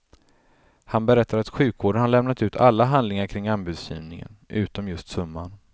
Han berättar att sjukvården har lämnat ut alla handlingar kring anbudsgivningen, utom just summan.